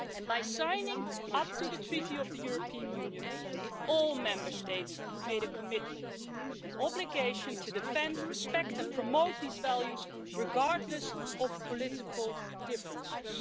By signing up to the Treaty on European Union, all the Member States made a commitment an obligation to defend, respect and promote these values, regardless of political differences.